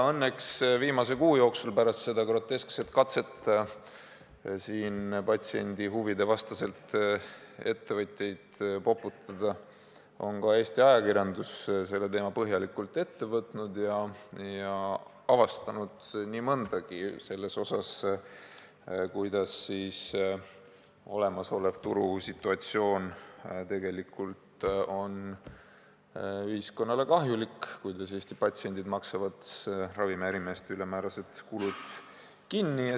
Õnneks viimase kuu jooksul, pärast seda groteskset katset patsiendi huvide vastaselt ettevõtjaid poputada, on ka Eesti ajakirjandus selle teema põhjalikult ette võtnud ja avastanud nii mõndagi selle kohta, kuidas olemasolev turusituatsioon tegelikult on ühiskonnale kahjulik ja kuidas Eesti patsiendid maksavad ravimiärimeeste ülemäärased kulud kinni.